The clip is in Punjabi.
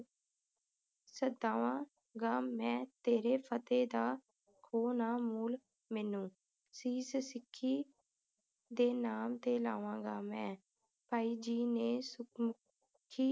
ਸਦਾਵਾਂਗਾ ਮੈਂ ਤੇਰੇ ਫਤਹਿ ਦਾ ਖੋਹ ਨਾ ਮੋਲ ਮੈਨੂੰ ਸੀਸ ਸਿੱਖੀ ਦੇ ਨਾਮ ਤੇ ਲਾਵਾਂਗਾ ਮੈਂ ਭਾਈ ਜੀ ਨੇ ਸੁਖਮੁਖੀ